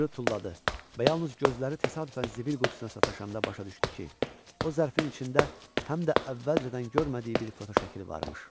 Onu cırıb tulladı və yalnız gözləri təsadüfən zibil qutusuna sataşanda başa düşdü ki, o zərfin içində həm də əvvəlcədən görmədiyi bir fotoşəkil varmış.